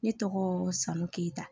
Ne tɔgɔ son keyita